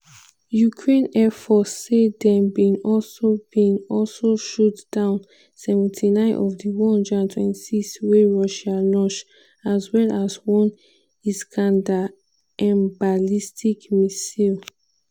ukraine air force say dem bin also bin also shoot down 79 of di 126 wey russia launch as well as one iskander-m ballistic missile.